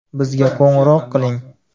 Bizga qo‘ng‘iroq qiling.